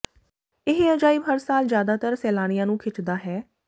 ਇਹ ਅਜਾਇਬ ਹਰ ਸਾਲ ਜਿਆਦਾਤਰ ਸੈਲਾਨੀਆਂ ਨੂੰ ਖਿੱਚਦਾ ਹੈ